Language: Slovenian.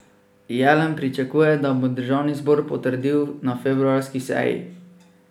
Jelen pričakuje, da jih bo državni zbor potrdil na februarski seji.